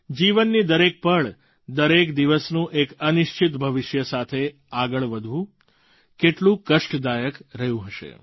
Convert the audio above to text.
જીવનની દરેક પળ દરેક દિવસનું એક અનિશ્ચિત ભવિષ્ય સાથે આગળ વધવું કેટલું કષ્ટદાયક રહ્યું હશે